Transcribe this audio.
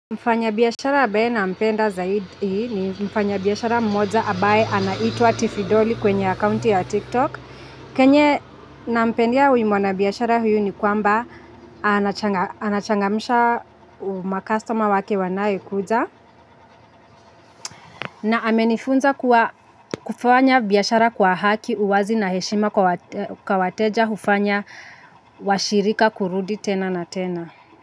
Mfanya biashara ambaye nampenda zaidi ni mfanya biashara mmoja ambaye anaitwa tifidoli kwenye accounti ya tiktok kenye nampendea huyu mwana biashara huyu ni kwamba anachangamisha makastoma wake wanayekuja. Na amenifunza kufanya biashara kwa haki uwazi na heshima kwa wateja hufanya washirika kurudi tena na tena. Kwa hivyo.